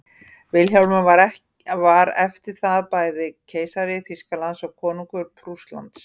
vilhjálmur var eftir það bæði keisari þýskalands og konungur prússlands